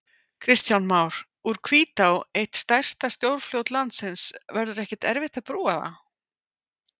Kristján Már: Úr Hvítá, eitt stærsta stórfljót landsins, verður ekkert erfitt að brúa það?